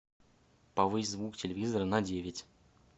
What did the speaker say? повысь звук телевизора на девять